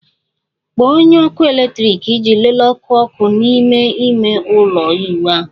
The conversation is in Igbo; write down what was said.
Kpọọ onye ọkụ eletrik iji lelee ọkụ ọkụ n'ime ime ụlọ ịwụ ahụ